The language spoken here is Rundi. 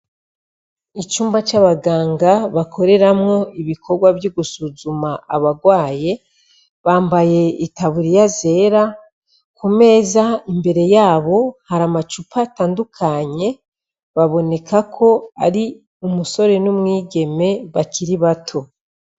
Icumba c'abaganga bakoreramwo ibikorwa vy'gusuzuma abarwaye bambaye itaburiya zera ku meza imbere yabo hari amacupa atandukanye baboneka ko ari umusore n'umwigeme bakiri bato.